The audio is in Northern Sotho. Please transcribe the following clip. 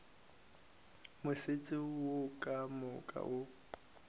motse wo ka moka o